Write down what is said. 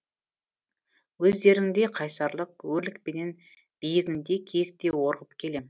өздеріңдей қайсарлық өрлікпенен биігіңде киіктей орғып келем